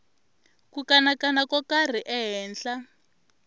ku kanakana ko karhi ehenhla